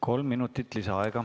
Kolm minutit lisaaega.